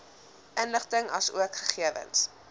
inligting asook gegewens